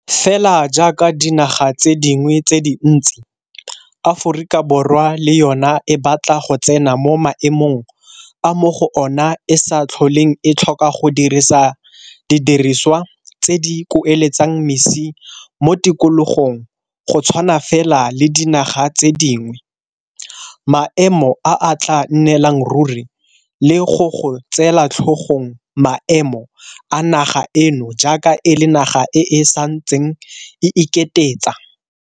Fela jaaka dinaga tse dingwe tse dintsi, Aforika Borwa le yona e batla go tsena mo maemong a mo go ona e sa tlholeng e tlhoka go dirisa di dirisiwa tse di kueletsang mesi mo tikologong go tshwana fela le dinaga tse dingwe, maemo a a tla nnelang ruri le go go tseela tlhogong maemo a naga eno jaaka e le naga e e santseng e iketetsa.